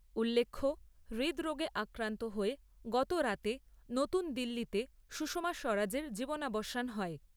উল্লেখ্য, হৃদরোগে আক্রান্ত হয়ে গতরাতে নতুন দিল্লিতে সুষমা স্বরাজের জীবনাবসান হয়।